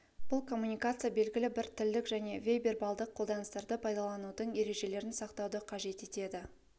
бұл коммуникация белгілі бір тілдік және бейвербалдық қолданыстарды пайдаланудың ережелерін сақтауды қажет етеді